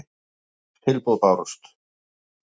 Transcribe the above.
Sex tilboð bárust.